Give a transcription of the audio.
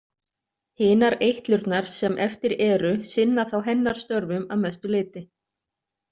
Hinar eitlurnar sem eftir eru sinna þá hennar störfum að mestu leyti.